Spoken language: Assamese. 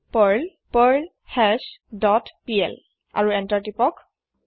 পাৰ্ল পাৰ্লহাছ ডট পিএল আৰু এন্তাৰ প্ৰেচ কৰক